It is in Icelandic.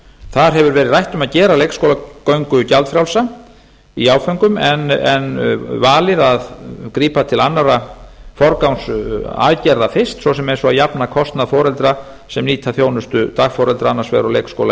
þar hefur verið rætt um að gera leikskólagöngu gjaldfrjálsa í áföngum en valið að grípa til annarra forgangsaðgerða fyrst svo sem eins og að jafna kostnað foreldra sem nýta þjónustu dagforeldra annars vegar og leikskóla